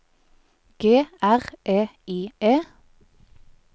G R E I E